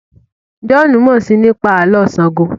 John mọ sii nípa Àló̩ Ṣàngó